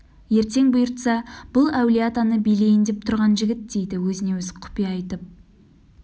ертең бұйыртса бұл әулие-атаны билейін деп тұрған жігіт дейді өзіне-өзі құпия айтып